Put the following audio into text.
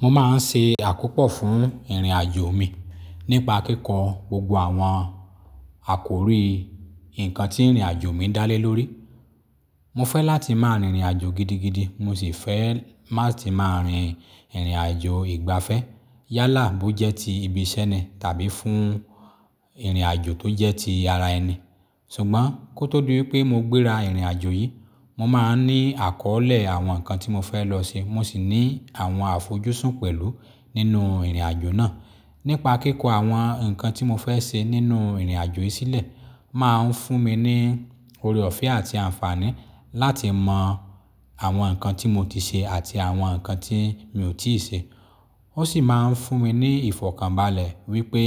Mo máa ń ṣe àkópọ̀ fún ìrìnàjò mi nípa kíkọ́ gbogbo àwọn àkòrí ǹkan tí ìrìnàjò mi dá lé lórí. Mo fẹ́ láti máa rìnrìnàjò gidigidi mo sì fẹ́ látì máa rin ìrìnàjò ìgbafẹ́ yálà bó jẹ́ tí ibi iṣẹ́ ni tàbí fún ìrìnàjò tó jẹ́ tí ara ẹni. Ṣùgbọ́n kó tó di wipé mo gbéra ìrìnàjò yìí, mo máa ń ní àkọ́ọ̀lẹ̀ àwọn ǹkan tí mo fẹ́ lọ ṣe mo sì ní àwọn àfojúsùn pẹ̀lú nínú ìrìnàjò náà. Nípa kíkọ àwọn nkan tí mo fẹ́ ṣe nínú ìrìnàjò yìí sílẹ̀ máa ń fún mi ní òore ọ̀fẹ́ àti àǹfààní láti mọ àwọn ǹkan tí mo ti ṣe àti àwọn ǹkan tí mi ò tíì ṣe. Ó sì máa ń fún mi ní ìfọ̀kànbalẹ̀ wípé